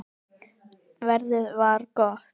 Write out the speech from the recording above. Veður var gott.